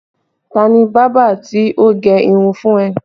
Ta ni bábà tí ó gẹ irun fún ẹ?